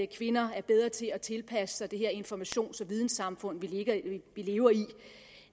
kvinder er bedre til at tilpasse sig det her informations og videnssamfund vi lever